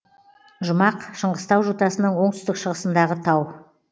жұмақ шыңғыстау жотасының оңтүстік шығысындағы тау